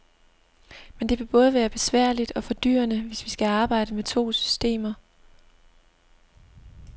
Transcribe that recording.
Men det vil både være besværligt og fordyrende, hvis vi skal arbejde med to systemer.